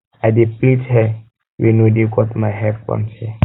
i dey plait hair wey no dey cut my front hair